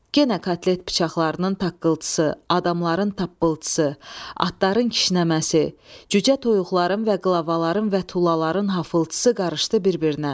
Yenə kotlet bıçaqlarının taqqıltısı, adamların tappıltısı, atların kişnəməsi, cücə toyuqların və qlavaların və tullaların haffıltısı qarışdı bir-birinə.